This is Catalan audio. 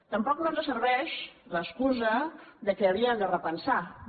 tampoc no ens serveix l’excusa que havien de repensar ho